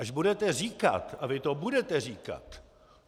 Až budete říkat - a vy to budete říkat!